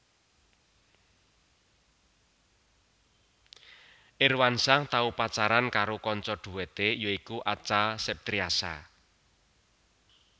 Irwansyah tau pacaran karo kanca dhuwete ya iku Acha Septriasa